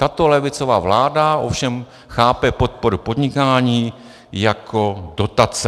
Tato levicová vláda ovšem chápe podporu podnikání jako dotace.